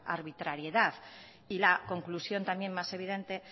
arbitrariedad y la conclusión también más evidente